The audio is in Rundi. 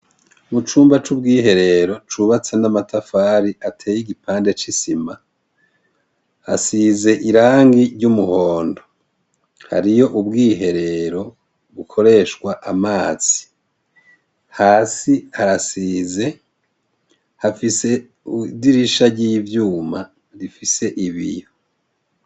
Mu cumba c'ubwiherero cubatse n'amatafari ateye igipande c'isima asize irangi ry'umuhondo. Hariyo ubwiherero bukoreshwa amazi. Hasi harasize, hafise idirisha ry'ivyuma rifise ibiyo.